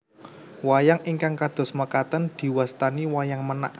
Wayang ingkang kados makaten diwastani Wayang Menak